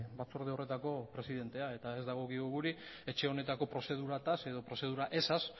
batzorde horretako presidentea eta ez dagokigu guri etxe honetako prozeduretaz edo prozedura ezaz